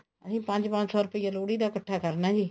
ਅਸੀਂ ਪੰਜ ਪੰਜ ਸੋ ਰੁਪਿਆ ਲੋਹੜੀ ਦਾ ਇੱਕਠਾ ਕਰਨਾ ਜੀ